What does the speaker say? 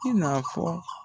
I na fɔ